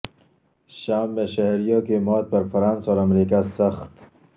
شام میں شہریوں کی موت پر فرانس اور امریکہ سخت